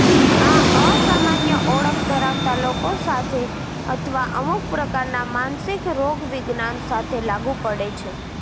આ અસામાન્ય ઓળખ ધરાવતા લોકો સાથે અથવા અમુક પ્રકારના માનસિક રોગવિજ્ઞાન સાથે લાગુ પડે છે